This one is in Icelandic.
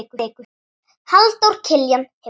Halldór Kiljan hefur tekið yfir.